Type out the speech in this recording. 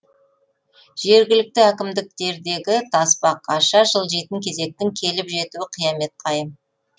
жергілікті әкімдіктердегі тасбақаша жылжитын кезектің келіп жетуі қиямет қайым